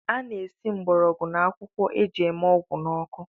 E na-esi mgborogwu na akwụkwọ e ji eme ọgwụ n’ọkụ